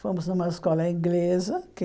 Fomos numa escola inglesa que